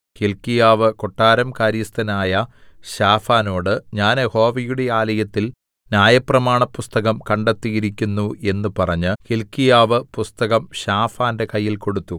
ഹില്ക്കീയാവ് കൊട്ടാരം കാര്യസ്ഥനായ ശാഫാനോട് ഞാൻ യഹോവയുടെ ആലയത്തിൽ ന്യായപ്രമാണപുസ്തകം കണ്ടെത്തിയിരിക്കുന്നു എന്ന് പറഞ്ഞു ഹില്ക്കീയാവ് പുസ്തകം ശാഫാന്റെ കയ്യിൽ കൊടുത്തു